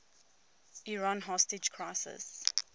iran hostage crisis